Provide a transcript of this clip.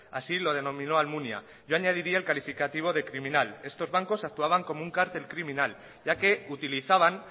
así lo denominó almunia yo añadiría el calificativo de criminal estos bancos actuaban como un cártel criminal ya que utilizaban